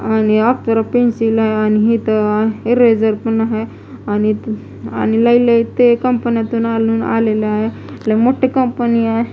आणि अप्सरा पेन्सिल आणि हिथं इरेजर पण आहे आणि ते आणि लय लय ते कंपन्यातून आणून आलेल आहे लय मोठी कंपनी आहे.